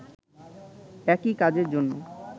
একই কাজের জন্য